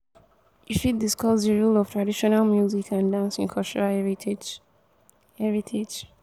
you fit discuss di role of traditional music and dance in cultural heritage. heritage.